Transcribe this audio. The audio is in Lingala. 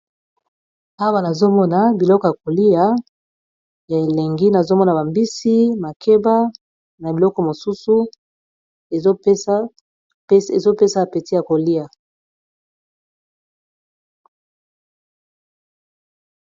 awa nazomona biloko ya kolia ya elengi nazomona bambisi makeba na biloko mosusu ezopesa apeti ya kolia